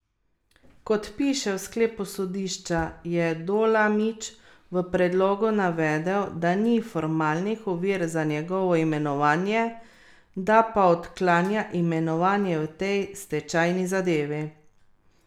Kot piše v sklepu sodišča, je Dolamič v predlogu navedel, da ni formalnih ovir za njegovo imenovanje, da pa odklanja imenovanje v tej stečajni zadevi.